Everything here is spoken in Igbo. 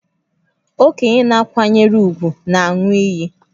Okenye a na-akwanyere ùgwù na-aṅụ iyi